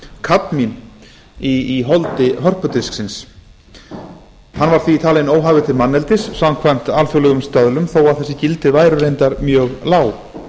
kadmín í holdi hörpudisksins hann var því talinn óhæfur til manneldis samkvæmt alþjóðlegum stöðlum þó þessi gildi væru reyndar mjög lág